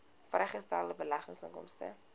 vrygestelde beleggingsinkomste